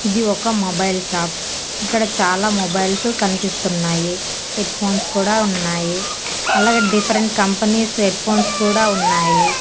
ఇది ఒక mobile shop ఇక్కడ చాలా మొబైల్సు కన్పిస్తున్నాయి హెడ్ఫోన్స్ కూడా ఉన్నాయి అలాగే డిఫరెంట్ కంపెనీస్ హెడ్ఫోన్స్ కూడా ఉన్నాయి.